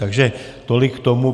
Takže tolik k tomu.